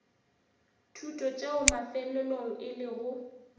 thuto tšeo mafelelong e lego